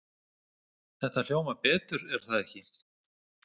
Þetta hljómar betur er það ekki?